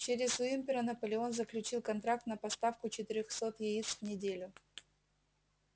через уимпера наполеон заключил контракт на поставку четырёхсот яиц в неделю